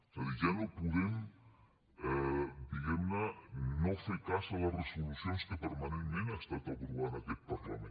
és a dir ja no podem diguem ne no fer cas a les resolucions que permanentment ha estat aprovant aquest parlament